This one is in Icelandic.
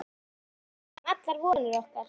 Hvað verður um allar vonir okkar?